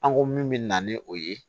An ko min bɛ na ni o ye